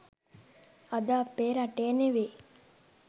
අද අපේ රටේ ‍නෙවෙයි